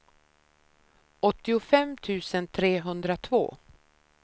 åttiofem tusen trehundratvå